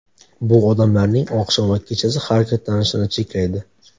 Bu odamlarning oqshom va kechasi harakatlanishini cheklaydi.